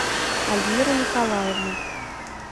альмира николаевна